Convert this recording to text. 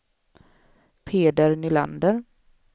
Peder Nylander